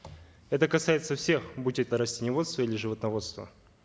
это касается всех будь это растениеводство или животноводство